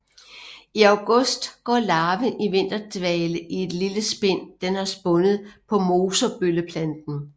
I august går larven i vinterdvale i et lille spind den har spundet på mosebølleplanten